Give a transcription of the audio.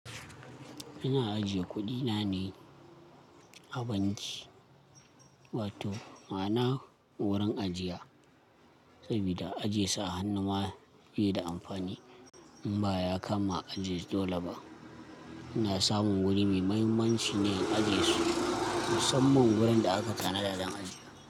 Ina ajiye kuɗina ne a banki, wato ma'ana wurin ajiya, saboda ajiye su a hannu ma bai da amfani. In ba ya kama a ajiye su dole ba, ina samun wuri mai muhimmanci ne in ajiye su, musamman wurin da aka tanada don ajiya.